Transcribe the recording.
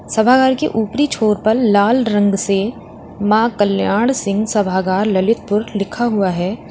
सभागार के ऊपरी छोर पर लाल रंग से मां कल्याण सिंह सभागार ललितपुर लिखा हुआ है।